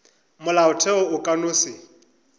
molaotheo o ka no se